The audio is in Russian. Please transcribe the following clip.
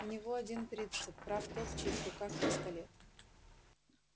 у него один принцип прав тот в чьих руках пистолет